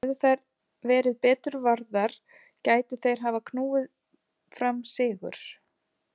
Hefðu þær verið betur varðar gætu þeir hafa knúið fram sigur.